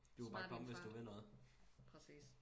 Smart i en fart præcis